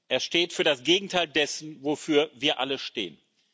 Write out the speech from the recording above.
Er steht für das Gegenteil dessen, wofür wir alle stehen.